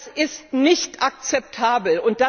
Das ist nicht akzeptabel.